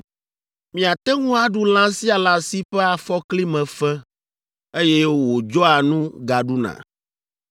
Miate ŋu aɖu lã sia lã si ƒe afɔkli me fe, eye wòdzɔa nu gaɖuna.